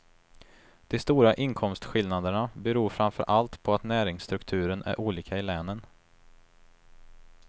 De stora inkomstskillnaderna beror framför allt på att näringsstrukturen är olika i länen.